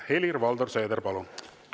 Helir-Valdor Seeder, palun!